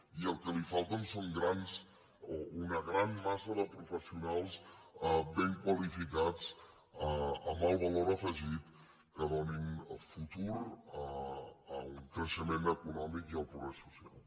i el que li falta és una gran massa de professionals ben qualificats amb el valor afegit que donin futur a un creixement econòmic i al progrés social